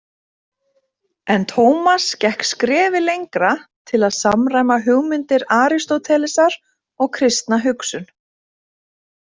En Tómas gekk skrefi lengra til að samræma hugmyndir Aristótelesar og kristna hugsun.